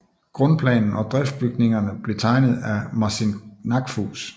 Grundplanen og driftbygningerne blev tegnet af Marcin Knackfus